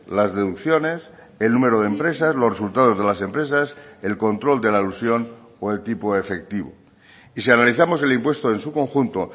las deducciones el número de empresas los resultados de las empresas el control de la elusión o el tipo efectivo y si analizamos el impuesto en su conjunto